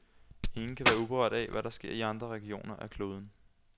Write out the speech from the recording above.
Ingen kan være uberørt af, hvad der sker i andre regioner af kloden.